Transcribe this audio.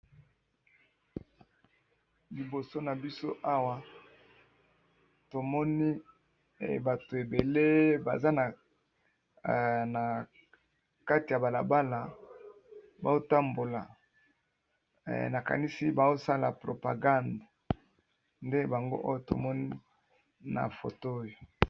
Liboso na biso awa tomoni bato ebele baza na kati ya bala bala bao tambola, nakanisi bao sala propagande nde bango oyo tomoni na foto oyo.